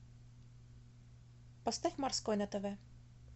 поставь морской на тв